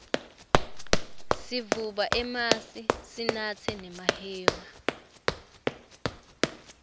sivuba emasi sinatse nemahewu